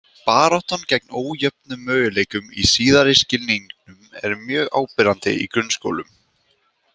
Baráttan gegn ójöfnum möguleikum í síðari skilningnum er mjög áberandi í grunnskólum.